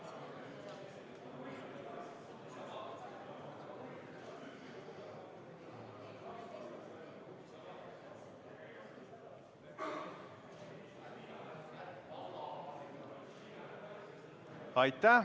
Aitäh!